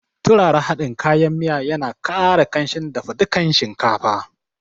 Turara hadin kayan miya ya na ƙara kamshin dafa dukan shinkafa